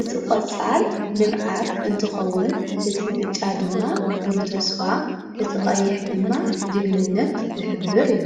እቲ ቖፃል ልምዓት እንትኸውን እቲ ብጫ ድማ ብሩህ ተስፋ እቲ ቐይሕ ድማ ጅግንነት ዘኅብር እዩ።